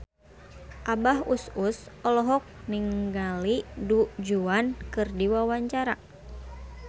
Abah Us Us olohok ningali Du Juan keur diwawancara